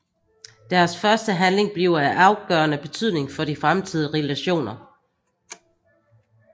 Deres første handling bliver af afgørende betydning for de fremtidige relationer